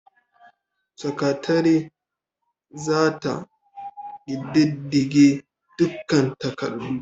Sakatare za ta ƙididdige dukkan takardu.